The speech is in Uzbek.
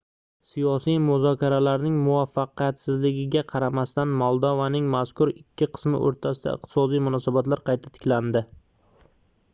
siyosiy muzokaralarning muvaffaqiyatsizligiga qaramasdan moldovaning mazkur ikki qismi oʻrtasida iqtisodiy munosabatlar qayta tiklandi